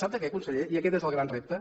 sap de què conseller i aquest és el gran repte